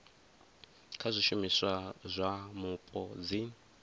kha zwishumiswa zwa mupo dzi